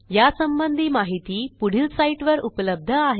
यासंबंधी माहिती पुढील साईटवर उपलब्ध आहे